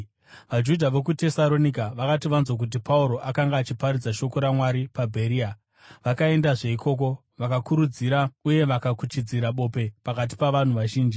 VaJudha vokuTesaronika vakati vanzwa kuti Pauro akanga achiparidza shoko raMwari paBheria, vakaendazve ikoko, vakakurudzira uye vakakuchidzira bope pakati pavanhu vazhinji.